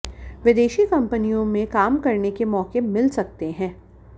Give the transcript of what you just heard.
विदेशी कंपनियों में काम करने के मौके मिल सकते हैं